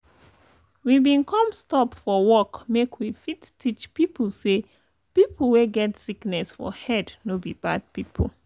we bin come stop for work make we fit teach people say people wey get sickness for head no be bad people.